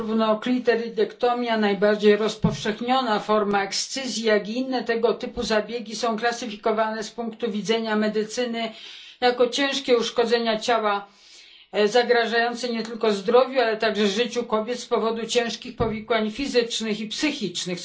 Zarówno klitoridektomia, najbardziej rozpowszechniona forma ekscyzji, jak i inne tego typu zabiegi są klasyfikowane z punktu widzenia medycyny jako ciężkie uszkodzenia ciała zagrażające nie tylko zdrowiu, ale także życiu kobiet z powodu poważnych powikłań fizycznych i psychicznych.